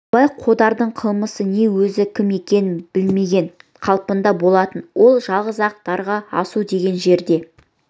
абай қодардың қылмысы не өзі кім екенін білмеген қалпында болатын ол жалғыз-ақ дарға асу деген жерде